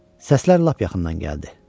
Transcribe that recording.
Səslər lap yaxından gəldi.